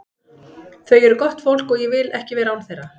Þau eru gott fólk og ég vil ekki vera án þeirra.